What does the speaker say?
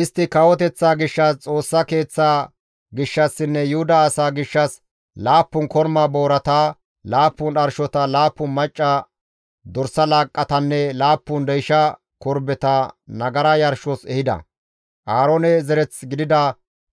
Istti kawoteththaa gishshas, Xoossa Keeththaa gishshassinne Yuhuda asaa gishshas, 7 korma boorata, 7 dharshota, 7 macca dorsa laaqqatanne 7 deysha korbeta nagara yarshos ehida; Aaroone zereth gidida